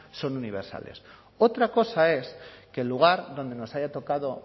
son universales otra cosa es que el lugar donde nos haya tocado